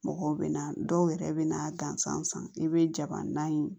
Mɔgɔw bɛ na dɔw yɛrɛ bɛ na gansan san i bɛ jabana in